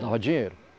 Dava dinheiro.